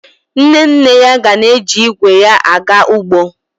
Nne nne ya ga na-eji igwe ya aga ugbo